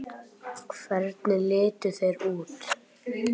Hvernig litu þeir út?